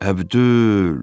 Əbdül!